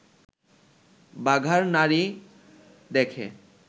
বাগার নাড়ী দেখে